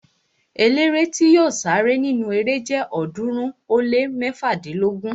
Eléré tí yóò sáré nínu erée jẹ ọ̀ọ́dúnrún ó lé mẹ́fádínlógún